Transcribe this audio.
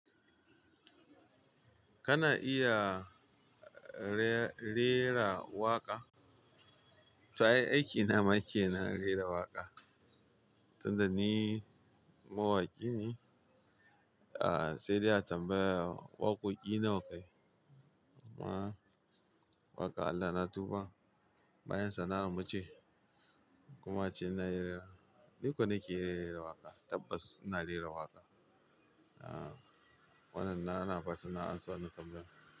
Kana iya re-rera waƙa? Ta aiki na make na rera waƙa, tun da ni mawaƙi ne. Aaa, sai dai a tambaya waƙoƙi nawa ka yi. Waƙa Allah na tuba, bayan sana'ar mu ce. Kuma ce na rera. Duk da na ke rera waƙa, tabbas ina rera waƙa. Aaa, wannan na na farsu na an so na tambayi.